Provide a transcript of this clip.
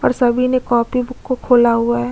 और सभी ने कॉपी बुक को खोला हुआ हैं।